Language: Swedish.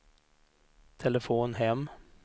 telefon hem